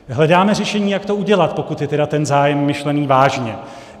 Hledáme řešení, jak to udělat, pokud je tedy ten zájem myšlen vážně.